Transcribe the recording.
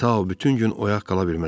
Ta o bütün gün oyaq qala bilməz.